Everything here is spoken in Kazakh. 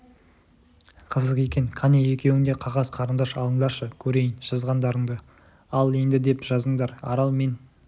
қызық екен қане екеуің де қағаз қарындаш алыңдаршы көрейін жазғаңдарыңды ал енді деп жазыңдар арал мен